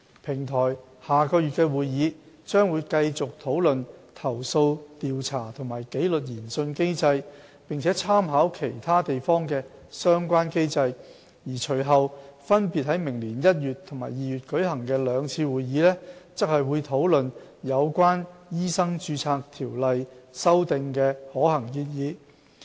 平台下月的會議將繼續討論投訴調查和紀律研訊機制，並參考其他地方的相關機制，而隨後分別在明年1月和2月舉行的兩次會議則會討論有關修訂《醫生註冊條例》的可行建議。